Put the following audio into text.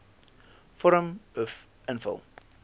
vorm uf invul